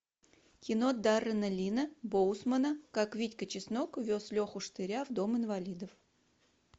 кино дарена лина боусмана как витька чеснок вез леху штыря в дом инвалидов